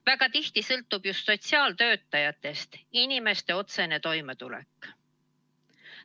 Väga tihti sõltub just sotsiaaltöötajatest inimeste otsene toimetulek.